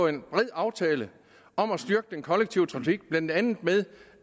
en bred aftale om at styrke den kollektive trafik blandt andet ved